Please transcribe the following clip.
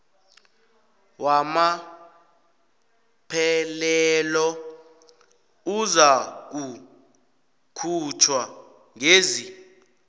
wamaphelelo uzakukhutjhwa ngezi